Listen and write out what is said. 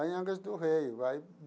Lá em Angras do Rei aí.